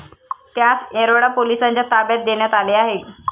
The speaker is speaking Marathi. त्यास येरवडा पोलिसांच्या ताब्यात देण्यात आले आहे.